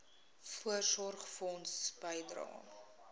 voorsorgfonds bydrae